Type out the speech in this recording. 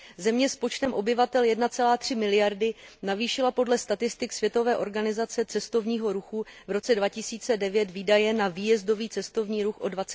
Země s počtem obyvatel 1,3 miliardy navýšila podle statistik Světové organizace cestovního ruchu v roce 2009 výdaje na výjezdový cestovní ruch o